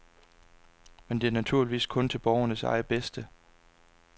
Men det er naturligvis kun til borgernes eget bedste.